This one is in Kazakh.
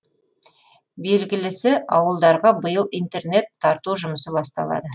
белгілісі ауылдарға биыл интернет тарту жұмысы басталады